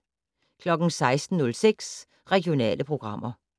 16:06: Regionale programmer